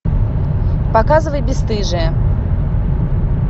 показывай бесстыжие